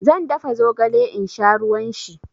Zan dafa zogale in sha ruwan shi.